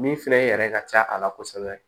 Min filɛ i yɛrɛ ka ca a la kosɛbɛ